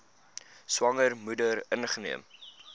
swanger moeder ingeneem